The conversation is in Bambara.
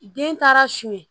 Den taara su ye